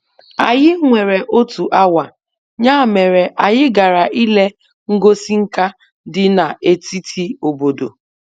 Anyị nwere otu awa, ya mere anyị gara ile ngosi nka dị na-etiti obodo.